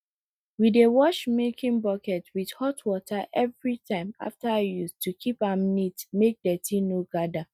we dey wash milking bucket with hot water every time after use to keep am neat make dirty no gather